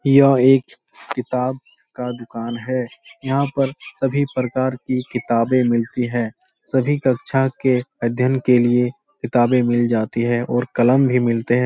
यह एक किताब का दुकान है। यहाँ पर सभी प्रकार की किताबे मिलती हैं। सभी कक्षा के अध्यन के लिए किताबे मिल जाती हैं और कलम भी मिलते हैं।